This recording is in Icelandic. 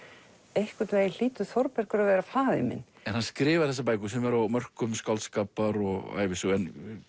einhvern veginn hlýtur Þórbergur að vera faðir minn en hann skrifar þessar bækur sem eru á mörkum skáldskapar og ævisögu en